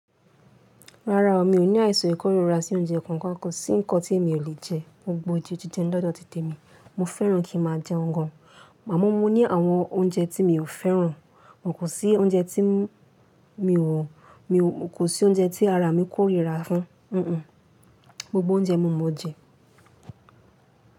Rárá o, mi ò ní àìsàn ikọ́rira sí oúnjẹ kankan. Kò sí nǹkan tí èmi ò lè jẹ. Gbogbo oúnjẹ jije ni lọ́dọ̀ ti tè mi. Mo fẹ́ràn kí n má a jẹun gan. Àmọ́ mo ní àwọn oúnjẹ tí mi ò fẹ́ràn, kò sí oúnjẹ tí mi ò, mi kò sí oúnjẹ tí ara mi kórìíra fún. Un un, gbogbo oúnjẹ mo mọ̀ jẹ.